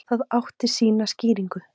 Það átti sína skýringu.